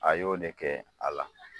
A y'o de kɛ a la.